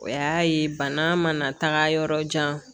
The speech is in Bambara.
O y'a ye bana mana taga yɔrɔ jan